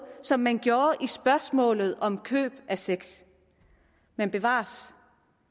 som man gjorde i spørgsmålet om køb af sex men bevares